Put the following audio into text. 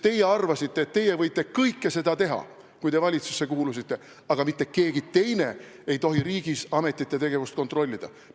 Teie arvasite, kui te valitsusse kuulusite, et te võite kõike seda teha, aga mitte keegi teine ei tohi riigis ametite tegevust kontrollida.